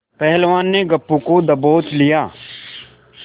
पहलवान ने गप्पू को दबोच लिया